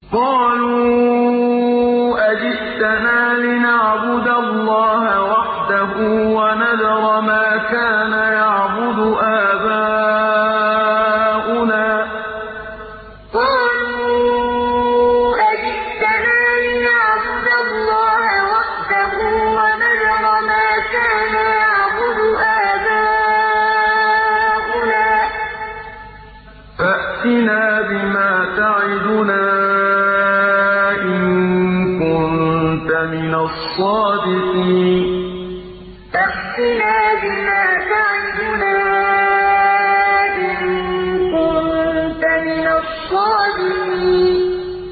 قَالُوا أَجِئْتَنَا لِنَعْبُدَ اللَّهَ وَحْدَهُ وَنَذَرَ مَا كَانَ يَعْبُدُ آبَاؤُنَا ۖ فَأْتِنَا بِمَا تَعِدُنَا إِن كُنتَ مِنَ الصَّادِقِينَ قَالُوا أَجِئْتَنَا لِنَعْبُدَ اللَّهَ وَحْدَهُ وَنَذَرَ مَا كَانَ يَعْبُدُ آبَاؤُنَا ۖ فَأْتِنَا بِمَا تَعِدُنَا إِن كُنتَ مِنَ الصَّادِقِينَ